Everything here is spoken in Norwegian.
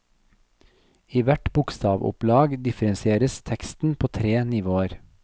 I hvert bokstavoppslag differensieres teksten på tre nivåer.